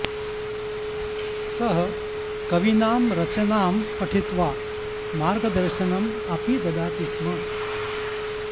सः कवीनां रचनां पठित्वा मार्गदर्शनम् अपि ददाति स्म